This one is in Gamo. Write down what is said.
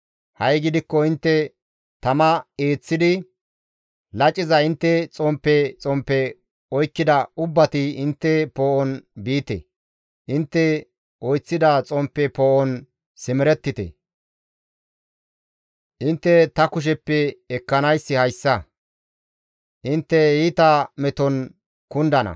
Ha7i gidikko intte tama eeththidi, laciza intte xomppe xomppe oykkida ubbati intte poo7on biite; intte oyththida xomppe poo7on simerettite; Intte ta kusheppe ekkanayssi hayssa; intte iita meton kundana.